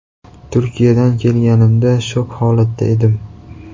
Turkiyadan kelganimda shok holatida edim.